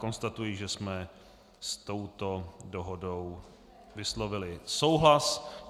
Konstatuji, že jsme s touto dohodou vyslovili souhlas.